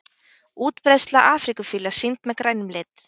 Útbreiðsla afríkufíla sýnd með grænum lit.